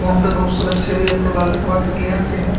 यहां पर बोहोत से बच्चे भी अपने बाल कटवाने के लिए आते हैं।